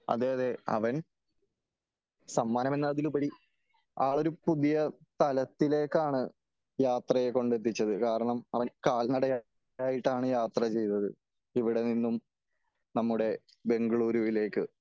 അതേ അതേ അവൻ സമ്മാനമെന്നതിലുപരി ആളൊരു പുതിയ തലത്തിലേക്കാണ് യാത്രയെ കൊണ്ടെത്തിച്ചത് . കാരണം അവൻ കാലനടയായിട്ടാണ് യാത്ര ചെയ്തത് . ഇവിടെ നിന്നും നമ്മുടെ ബാംഗ്ലൂരിലേക്ക്